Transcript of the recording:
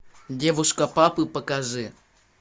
девушка папы покажи